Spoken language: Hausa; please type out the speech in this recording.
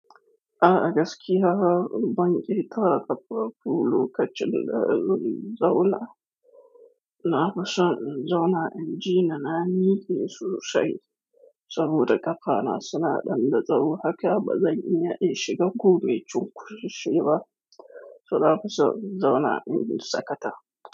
A agaski ha banki ta kafa bulu ka cin da zun zaula. Na ba son zauna inji na na ni yesu sha. Saboda kafana suna dandazawo haka ba zai iya ishe gobe chunkushe ba. So na ba zo zauna inji sakata.